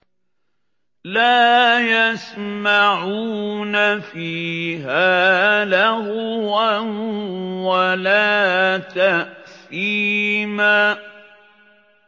لَا يَسْمَعُونَ فِيهَا لَغْوًا وَلَا تَأْثِيمًا